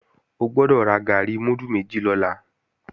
O gbọ́dọ̀ ra gàárì múdù méjì lọ́la